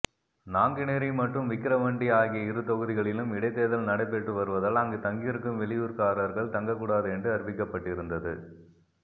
நாங்குநேரி மற்றும் விக்கிரவாண்டி ஆகிய இரு தொகுதிகளிலும் இடைத்தேர்தல் நடைபெற்று வருவதால் அங்கு தங்கியிருக்கும் வெளியூர்க்காரர்கள் தங்கக்கூடாது என்று அறிவிக்கப்பட்டிருந்தது